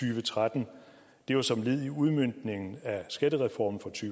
og tretten det var som led i udmøntningen af skattereformen fra to